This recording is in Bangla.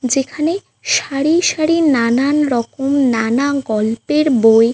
যেখানে সারি সারি নানান রকম নানা গল্পের বই --